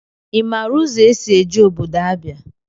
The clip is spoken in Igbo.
I maara ụzọ esị eje ọbọdọ Abịa?